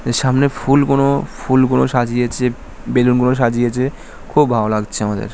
সামনে ফুল কোন ফুল কোন সাজিয়েছে বেলুনগুলো সাজিয়েছে। খুব ভালো লাগছে আমাদের ।